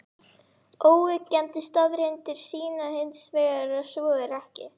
Óyggjandi staðreyndir sýna hins vegar að svo er ekki.